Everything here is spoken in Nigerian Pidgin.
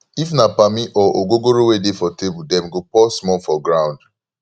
if na pammy or ogogoro wey dey for table dem go pour small for groumd